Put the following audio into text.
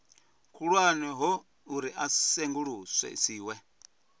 khulwane ho uri a sengulusiwe